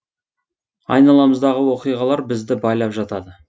айналамыздағы оқиғалар бізді байлап жатады